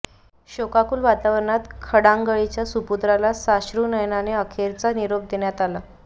शोकाकुल वातावरणात खडांगळीच्या सुपुत्राला साश्रुनयनाने अखेरचा निरोप देण्यात आला आहे